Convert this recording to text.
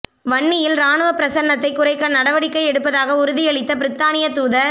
வன்னியில் இராணுவப் பிரசன்னத்தை குறைக்க நடவடிக்கை எடுப்பதாக உறுதியளித்த பிரித்தானியத் தூதர்